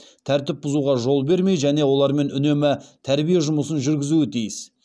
тәртіпті бұзуға жол бермей және олармен үнемі тәрбие жұмысын жүргізуі тиіс